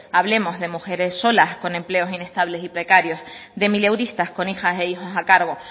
hablemos de mujeres solas con empleos inestables y precarios de mileuristas con hijas e hijos a cargo